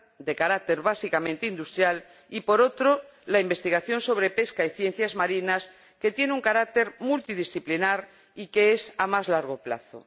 de carácter básicamente industrial, y, por otro, la investigación sobre pesca y ciencias marinas, que tiene un carácter multidisciplinar y que es a más largo plazo.